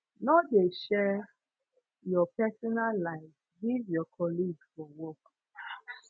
no de share your personal life give your colleague for work